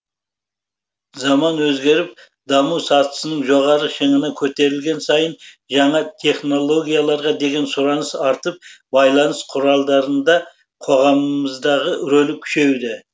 заман өзгеріп даму сатысының жоғары шыңына көтерілген сайын жаңа технологияларға деген сұраныс артып байланыс құралдардыңда қоғамымызда рөлі күшеюде